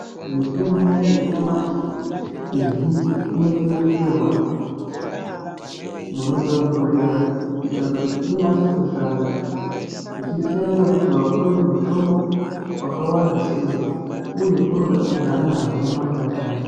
Mitombo yanyamashi izhinji inochengeterwa munotonhorera kuita kuti inyase kushanda zvichisiyana nekuti wapuwe mutombo wakawanda sei uye unoda kugara mazuwa manganai.